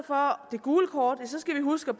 gule kort skal vi huske